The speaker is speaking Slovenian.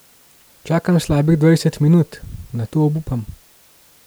Čakam slabih dvajset minut, nato obupam.